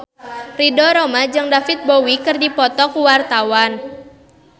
Ridho Roma jeung David Bowie keur dipoto ku wartawan